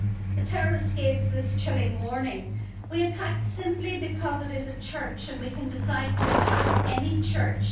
The terrorists gave this chilling warning we attacked simply because it is a church, and we can decide to attack any church.